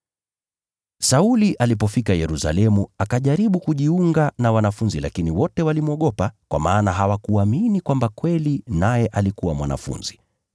Sauli alipofika Yerusalemu akajaribu kujiunga na wanafunzi lakini wote walimwogopa, kwa maana hawakuamini kwamba kweli naye alikuwa mwanafunzi.